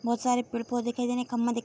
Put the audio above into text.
बहुत सारे पेड़-पौधे दिखाई दे रहे खम्भा दि --